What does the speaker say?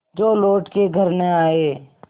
जो लौट के घर न आये